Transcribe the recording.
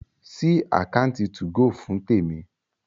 sí Àkáùntì 2go fún Temi!